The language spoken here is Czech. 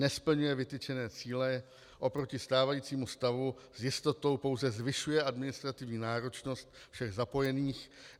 Nesplňuje vytyčené cíle, oproti stávajícímu stavu s jistotou pouze zvyšuje administrativní náročnost všech zapojených.